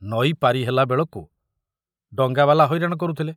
ନଈ ପାରି ହେଲା ବେଳକୁ ଡଙ୍ଗାବାଲା ହଇରାଣ କରୁଥିଲେ।